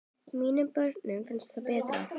Mínum börnum finnst það betra.